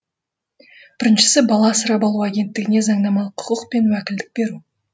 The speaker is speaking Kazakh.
біріншісі бала асырап алу агенттігіне заңнамалық құқық пен уәкілдік беру